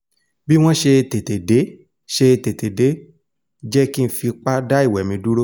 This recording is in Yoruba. bí wọ́n ṣe tètè dé ṣe tètè dé jẹ́ kí n fi tipá dá ìwẹ̀ mi dúró